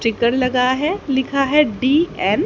Sticker लगा है लिखा है डी_एन ।